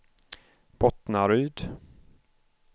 Bottnaryd